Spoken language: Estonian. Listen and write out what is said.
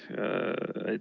Aitäh!